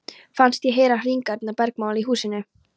Fannst ég heyra hringingarnar bergmála í húsinu.